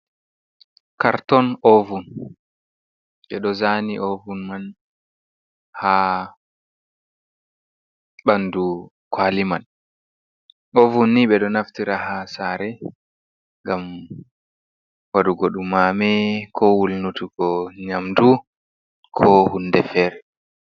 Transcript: Karton ovun, ɓeɗo zani ovun man ha ɓandu kwali man, ovun ni ɓeɗo naftira ha sare ngam waɗugo ɗu mame ko wulnutugo nyamdu ko hunde fere.